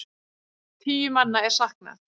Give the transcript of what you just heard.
Tíu manna er saknað.